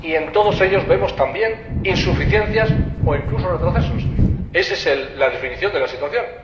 y en todos ellos vemos también insuficiencias o, incluso, retrocesos. Ésa es la definición de la situación.